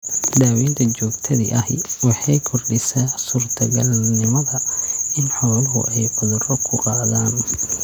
Daawaynta joogtada ahi waxay kordhisaa suurtogalnimada in xooluhu ay cudurro ku qaadaan.